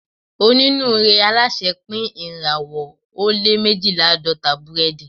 Onínúure alásè pín irinwo ó lé mejilelaadọta burẹdi